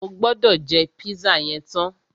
O gbọ́dọ̀ jẹ́ pízà yẹn tán!